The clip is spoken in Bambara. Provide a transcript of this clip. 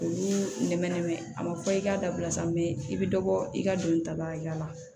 Olu nɛmɛnɛmɛ a ma fɔ i k'a dabila sa mɛ i bɛ dɔ bɔ i ka don ta ba la